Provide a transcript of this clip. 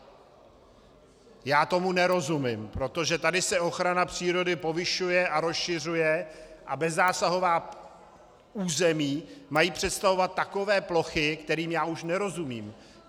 Já tomu nerozumím, protože tady se ochrana přírody povyšuje a rozšiřuje a bezzásahová území mají představovat takové plochy, kterým já už nerozumím.